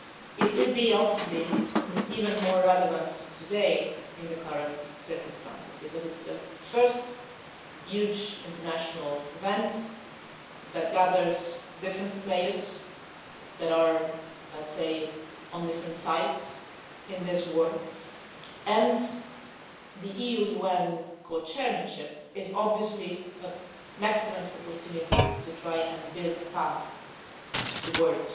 It will be even more relevant today in the current circumstances because it is the first huge international event that gathers different players that are, let's say, on different sides in this war, and the EU UN co chairmanship is obviously an excellent opportunity to try to build a path towards